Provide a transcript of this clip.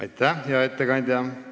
Aitäh, hea ettekandja!